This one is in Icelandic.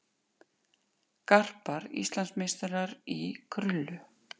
Garpar Íslandsmeistarar í krullu